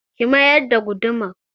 Ki mayar da gudumar!